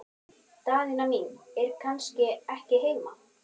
Daðína mín er kannski ekki heima?